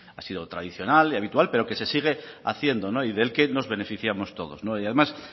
ha sido tradicional y habitual pero que se sigue haciendo y del que nos beneficiamos todos y además